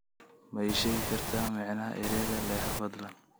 Ma ii sheegi kartaa macnaha ereyga leexo fadlan